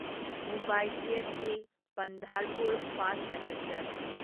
Mumbai CST Pandharpur fast passenger